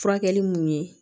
Furakɛli mun ye